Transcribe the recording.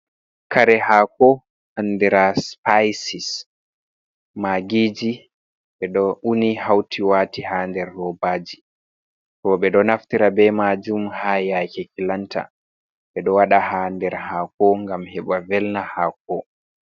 "Kare hako" andira sipisis magiji beɗo uni hauti wati ha nder robaji to beɗo naftira bei majum ha yake kilanta ɓeɗo waɗa ha nder hako ngam heɓa velna hako.